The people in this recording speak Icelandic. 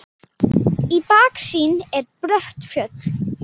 Í baksýn eru brött fjöll.